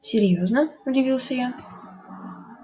серьёзно удивился я